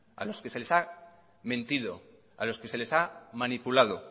a los que se les ha mentido a los que se les ha manipulado